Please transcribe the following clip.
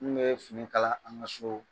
N bɛ fini kala an ka so